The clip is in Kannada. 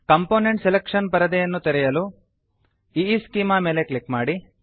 ಕಾಂಪೋನೆಂಟ್ ಸೆಲೆಕ್ಷನ್ ಪರದೆ ತೆರೆಯಲು ಈಸ್ಚೆಮಾ ಮೇಲೆ ಕ್ಲಿಕ್ ಮಾಡಿ